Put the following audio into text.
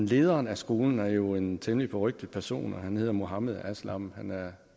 lederen af skolen er jo en temmelig berygtet person han hedder mohammed aslam han er